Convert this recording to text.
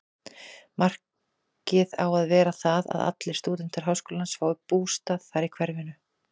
Markið á að vera það, að allir stúdentar háskólans fái bústað þar í hverfinu.